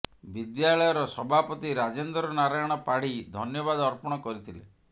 ବିଦ୍ୟାଳୟର ସଭାପତି ରାଜେନ୍ଦ୍ର ନାରାୟଣ ପାଢୀ ଧନ୍ୟବାଦ ଅର୍ପଣ କରିଥିଲେ